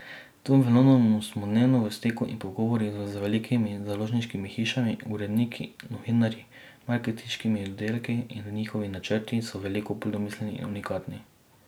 Tu v Londonu smo dnevno v stiku in pogovorih z velikimi založniškimi hišami, uredniki, novinarji, marketinškimi oddelki in njihovi načrti so veliko bolj domiselni in unikatni.